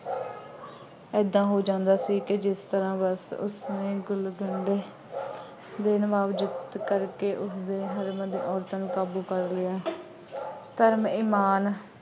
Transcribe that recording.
ਏਦਾਂ ਹੋ ਜਾਂਦਾ ਸੀ ਕਿ ਜਿਸ ਤਰ੍ਹਾਂ ਬਸ ਉਸਨੇ ਗੁਲਕੰਦ ਦੇਣ ਵਾਂਗ ਕਰਕੇ ਉਸਦੇ ਦੀਆਂ ਔਰਤਾਂ ਨੂੰ ਕਾਬੂ ਕਰ ਲਿਆ। ਧਰਮ, ਇਮਾਨ